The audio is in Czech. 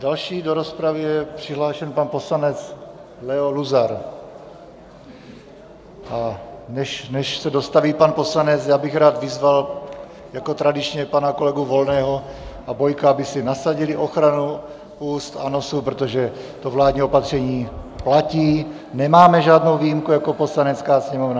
Další do rozpravy je přihlášen pan poslanec Leo Luzar, a než se dostaví pan poslanec, já bych rád vyzval jako tradičně pana kolegy Volného a Bojka, aby si nasadili ochranu úst a nosu, protože to vládní opatření platí, nemáme žádnou výjimku jako Poslanecká sněmovna.